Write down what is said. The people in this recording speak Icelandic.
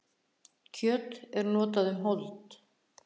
kjöt er notað um hold